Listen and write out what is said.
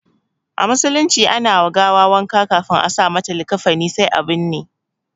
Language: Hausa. A musulunci ana wa gawa wanka ƙafin a sa masa likafani sai a binne.